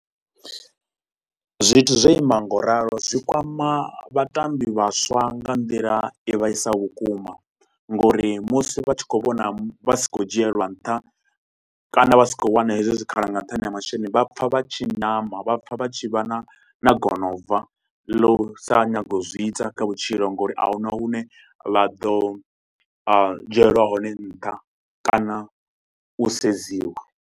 Zwithu zwo ima ngauralo zwikwama vhatambi vhaswa nga nḓila i vhaisaho vhukuma ngauri musi vha tshi khou vhona vha si khou dzhielwa nṱha kana vha sa khou wana hezwo zwikhala nga nṱhani ha masheleni vha pfa vha tshi nyama vha pfa vha tshi vha na na gonobva la u sa nyaga u zwi ita kha vhutshilo ngauri ahuna hune vha ḓo a dzhielwa hone nṱha kana u sedziwa.